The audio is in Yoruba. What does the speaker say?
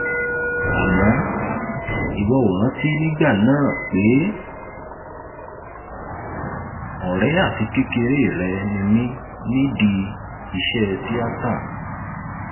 àmọ ìwọ ò rántí nígbà náà pé ọrẹ àti kékeré rẹ ni mí nídìí iṣẹ tíátá